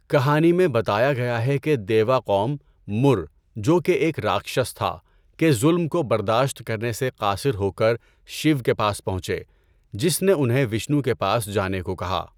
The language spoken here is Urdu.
کہانی میں بتایا گیا ہے کہ دیوا قوم، 'مُر' جو کہ ایک راکشش تھا، کے ظلم کو برداشت کرنے سے قاصر ہو کر شیو کے پاس پہنچے، جس نے انہیں وشنو کے پاس جانے کو کہا۔